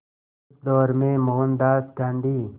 उस दौर में मोहनदास गांधी